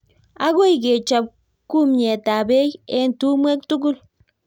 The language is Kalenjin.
agoi kechob kumyetab beek eng' tumwek tugul